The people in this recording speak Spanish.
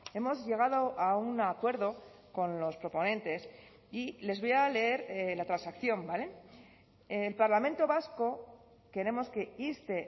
hemos llegado a un acuerdo con los proponentes y les voy a leer la transacción vale el parlamento vasco queremos que inste